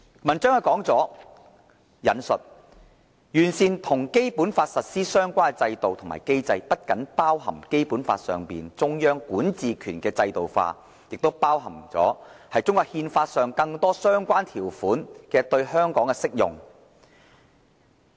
文章指出："'完善與《基本法》實施相關的制度和機制'，不僅包含《基本法》上中央管治權的制度化，也包括中國憲法上更多相關條款的對港適用"。